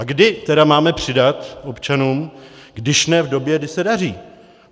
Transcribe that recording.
A kdy tedy máme přidat občanům, když ne v době, kdy se daří?